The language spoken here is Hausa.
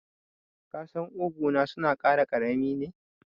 Ƙasan ƙugu na suna kara karami ne.